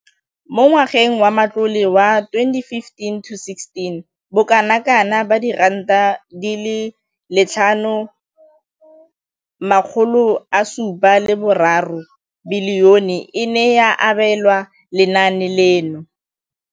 Mo ngwageng wa matlole wa 2015,16, bokanaka R5 703 bilione e ne ya abelwa lenaane leno.